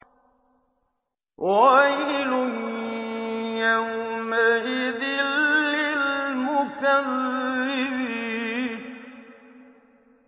وَيْلٌ يَوْمَئِذٍ لِّلْمُكَذِّبِينَ